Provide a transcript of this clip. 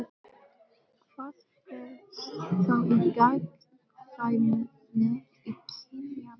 Hvað felst þá í gagnkvæmni kynjanna?